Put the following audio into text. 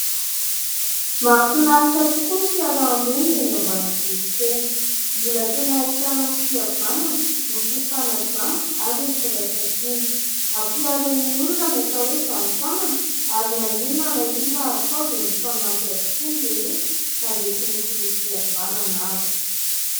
Mahafinaritra tokoa ny fiarahamonina eny ambanivohitra eny. Mbola tena ahitana fihavanana, ny fifanajana ary ny firaisakiana. Hampiarin'ny olona ny atao hoe valintanana ary na inona na inona atao dia mifanampy avokoa ny rehetra na dia tsy misy rohim-.pihavanana aza.